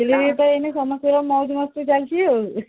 କଲେଜରେ ରେ ତ ଏଇନୁ ସବୁ ମାଇକି ନାଚ ଚାଲିଛି ଆଉ